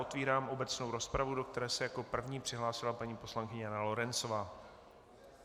Otevírám obecnou rozpravu, do které se jako první přihlásila paní poslankyně Jana Lorencová.